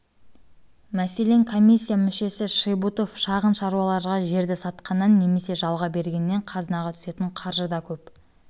мәселен комиссия мүшесі шибұтов шағын шаруаларға жерді сатқаннан немесе жалға бергеннен қазынаға түсетін қаржы да көп